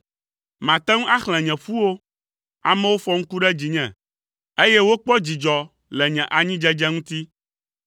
Mate ŋu axlẽ nye ƒuwo, amewo fɔ ŋku ɖe dzinye, eye wokpɔ dzidzɔ le nye anyidzedze ŋuti.